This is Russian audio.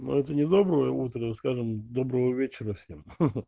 но это не доброе утро скажем доброго вечера всем ха-ха